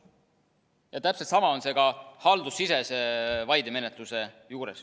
Ja täpselt sama on see ka haldussisese vaidemenetluse juures.